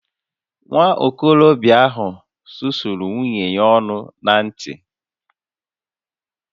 Nwa okorobịa ahụ susuru nwunye ya ọnụ na ǹtì